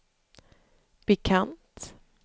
bekant